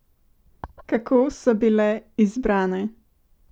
Kako so bile izbrane?